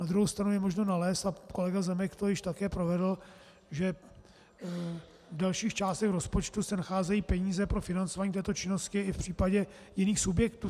Na druhé straně je možno nalézt, a kolega Zemek to již také provedl, že v dalších částech rozpočtu se nacházejí peníze pro financování této činnosti i v případě jiných subjektů.